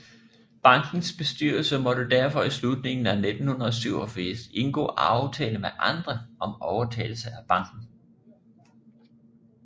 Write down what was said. Bankens bestyrelse måtte derfor i slutningen af 1987 indgå aftale med andre om overtagelse af banken